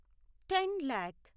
ten lakh